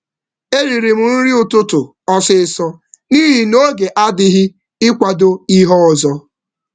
M jidere um nri ụtụtụ ngwa ngwa n’ihi na um oge adịghị maka um ihe ọzọ.